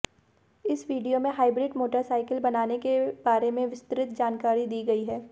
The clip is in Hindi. इस वीडियो में हाइब्रिड मोटरसाइकल बनाने के बारे में विस्तृत जानकारी दी गई है